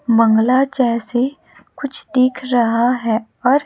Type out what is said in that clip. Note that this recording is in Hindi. मंगला जैसी कुछ दिख रहा है और--